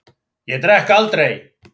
Ég drekk aldrei.